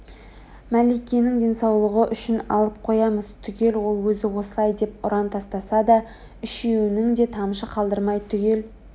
мәликенің денсаулығы үшін алып қоямыз түгел ол өзі осылай деп ұран тастаса да үшеуінің де тамшы қалдырмай түгел